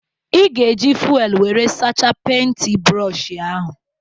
Ị ga-eji fuelu wéré sachaa penti brooshi ahụ